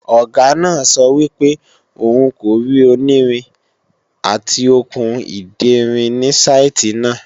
Ọ̀gá náà sọ wípé òun kò rí onírin/Okùn ìderin ni saìtì náà